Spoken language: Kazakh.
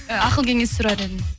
ақыл кеңес сұрар едім